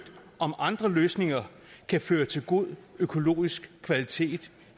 om andre løsninger kan føre til god økologisk kvalitet